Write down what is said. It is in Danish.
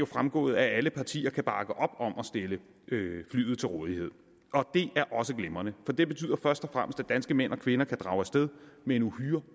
fremgået at alle partier kan bakke op om at stille flyet til rådighed og det er også glimrende for det betyder først og fremmest at danske mænd og kvinder kan drage af sted med en uhyre